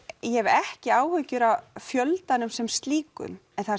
ég hef ekki áhyggjur af fjöldanum sem slíkum en það